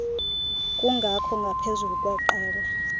kungakho ngaphezulu kweqela